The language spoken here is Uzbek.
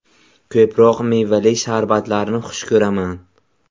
Ko‘proq mevali sharbatlarni xush ko‘raman.